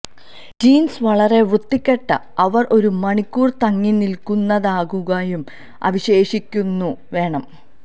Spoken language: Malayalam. ജീൻസ് വളരെ വൃത്തികെട്ട അവർ ഒരു മണിക്കൂർ തങ്ങിനിൽക്കുന്നതാക്കുകയും അവശേഷിക്കുന്നു വേണം